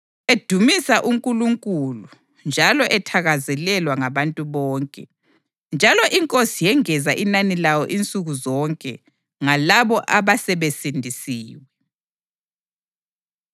edumisa uNkulunkulu njalo ethakazelelwa ngabantu bonke. Njalo iNkosi yengeza inani lawo insuku zonke ngalabo abasebesindisiwe.